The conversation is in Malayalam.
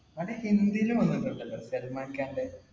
അത് ഹിന്ദീലും വന്നിട്ടുണ്ട്. സല്‍മാന്‍ഖാന്‍റെ